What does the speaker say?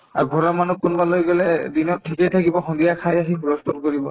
আৰু ঘৰৰ মানুহ কোনোবা ওলাই গলে দিনত ঠিকে থাকিব সন্ধিয়া খাই আহি হুলুহূল কৰিব